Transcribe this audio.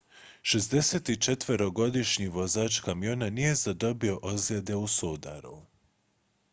64-godišnji vozač kamiona nije zadobio ozljede u sudaru